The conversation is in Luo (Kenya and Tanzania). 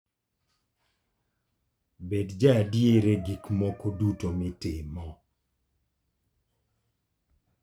Bed jaadier e gik moko duto mitimo.